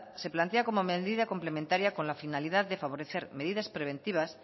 se plantea como medida complementaria con la finalidad de favorecer medidas preventivas